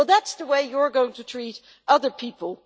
That is the way you are going to treat other people.